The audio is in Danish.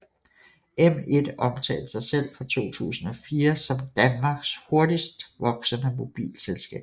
M1 omtalte sig selv fra 2004 som Danmarks hurtigst voksende mobilselskab